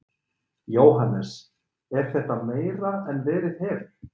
Jóhannes: Er þetta meira en verið hefur?